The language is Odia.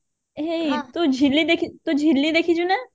ହେଇ ତୁ ଝିଲି ଦେଖି ଝିଲି ଦେଖିଛୁ ନା